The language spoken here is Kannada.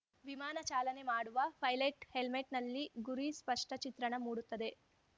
ವಿಮಾನ ಚಾಲನೆ ಮಾಡುವ ಪೈಲಟ್‌ ಹೆಲ್ಮೆಟ್‌ನಲ್ಲಿ ಗುರಿ ಸ್ಪಷ್ಟಚಿತ್ರಣ ಮೂಡುತ್ತದೆ